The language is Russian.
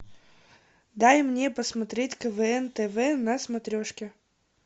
дай мне посмотреть квн тв на смотрешке